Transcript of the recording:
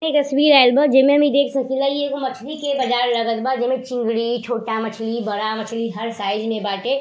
इ एक तस्वीर आइल बा जेमें हम इ देख सकीला इ एगो मछली के बाजार लगत बा जेमे चिंगरी छोटा मछली बड़ा मछली हर साइज में बाटे।